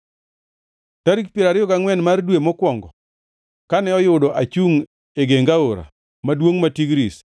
Tarik piero ariyo gangʼwen mar dwe mokwongo, kane oyudo achungʼ e geng aora maduongʼ ma Tigris,